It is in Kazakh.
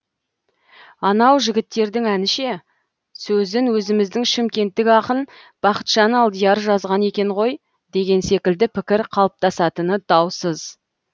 анау жігіттердің әні ше сөзін өзіміздің шымкенттік ақын бақытжан алдияр жазған екен ғой деген секілді пікір қалыптасатыны даусыз